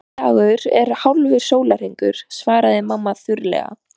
Heill dagur er hálfur sólarhringur, svaraði mamma þurrlega.